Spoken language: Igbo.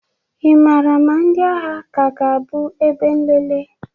ị maara ma ndị agha ka ga-abụ ebe nlele?